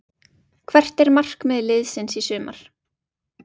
Hvert er markmið liðsins í sumar?